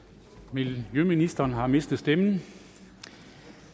miljøministeren har mistet stemmen